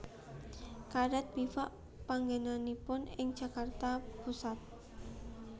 Karet Bivak panggènanipun ing Jakarta Pusat